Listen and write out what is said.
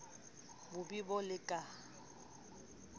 bo be bo le ka